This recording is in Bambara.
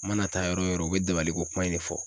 Mana taa yɔrɔ o yɔrɔ o bɛ dabaliko kuma in de fɔ